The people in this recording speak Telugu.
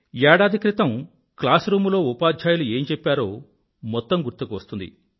ఏడాది క్రితం క్లాస్ రూమ్ లో ఉపాధ్యాయులు ఏం చెప్పారో మొత్తం గుర్తుకు వస్తుంది